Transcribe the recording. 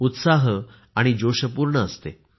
उत्साह आणि जोशपूर्ण असते